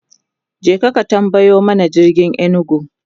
kaje ka tambayo mana jirgin inugu!